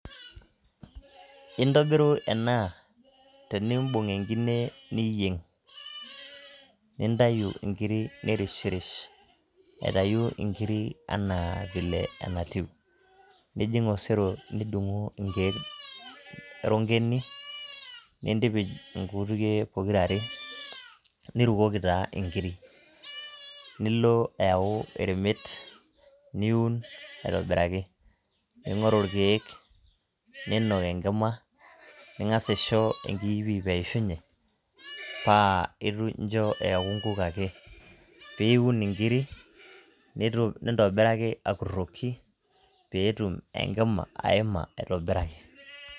Intobiru ena, tenibung' enkine niyieng'. Nintayu inkiri nirishirish, aitayu inkirik enaa vile natiu. Nijing' osero nidung'u inkeek rongeni, nintipij inkutukie pokirare, nirukoki taa inkirik. Nilo au eremet, niun aitobiraki. Ning'oru irkeek niinok enkima, ning'asa aisho enkiipiip eishunye, pa incho eeku nkuk ake. Piun inkiri, nintobiraki akurroki, petum enkima aima aitobiraki.